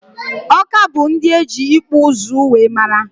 Awka bụ ndị eji ịkpụ ụzụ wee mara